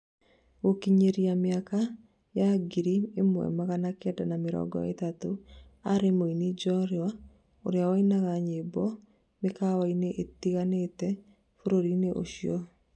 Gũkinyĩria mĩaka ya ngiri ĩmwe magana Kenda ma mĩrongo ĩtatũ, arĩ mũini njorua ũrĩa wainaga nyĩmbo mĩkawaini ĩtiganĩte bũrũrĩnĩ ũcio